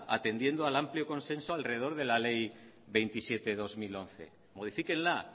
atendiendo al amplio consenso alrededor la ley veintisiete barra dos mil once modifíquenla